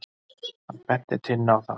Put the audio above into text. Hann benti Tinnu á það.